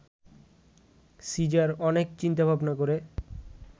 caesar অনেক চিন্তা-ভাবনা করে